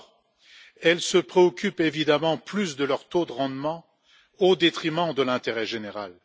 Or, elles se préoccupent évidemment plus de leur taux de rendement au détriment de l'intérêt général.